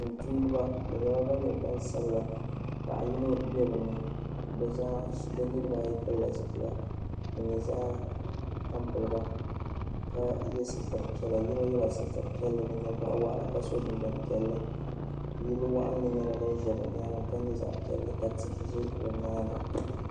,tumdiba bi nyɛla ban nyɛ gbansabila bi niribi ayi pilila zi pila. din nyɛ zaɣi tam p . ye sitiri piɛla yinɔ yela sitiri piɛli di n nyɛ zaɣi yaɣi ka so jinjam piɛli yiliwaɣinli nyɛla din ʒɛ bɛnyaaŋa ka nyɛ yili piɛli